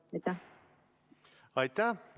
Aitäh!